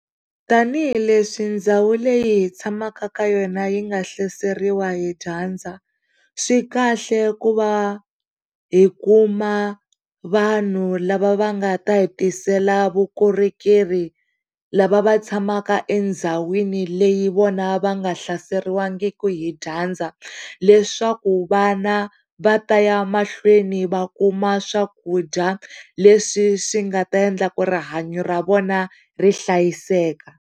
Tanihi hileswi ndhawu leyi hi tshamaka ka yona yi nga hlaseriwa hi dyandza, swikahle ku va hi kuma vanhu lava va nga ta hi tiseka vukorhokeri lava va tshamaka endhawini leyi vona va nga hlaseriwangiki hi dyandza leswaku vana va ta ya mahlweni va kuma swakudya leswi swi nga ta endla ku rihanyo ra vona ri hlayiseka.